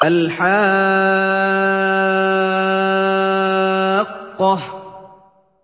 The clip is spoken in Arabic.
الْحَاقَّةُ